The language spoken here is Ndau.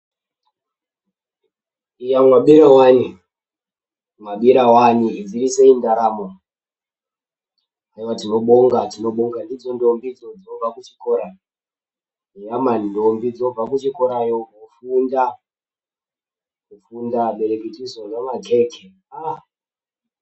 "Iya mwabira wani! Mwabira wani! Dzirisei ndaramo? Haiwa tinobonga, tinobonga! Ndidzo ntombi dzo dzinobva kuchikora, eya mani ntombi dzobva kuzvikorayo kofunda abereki tizorya makeke, aaaah!"